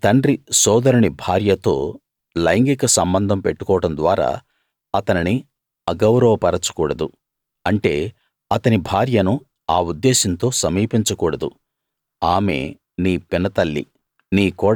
నీ తండ్రి సోదరుని భార్యతో లైంగిక సంబంధం పెట్టుకోవడం ద్వారా అతనిని అగౌరవ పరచ కూడదు అంటే అతని భార్యను ఆ ఉద్దేశంతో సమీపించ కూడదు ఆమె నీ పినతల్లి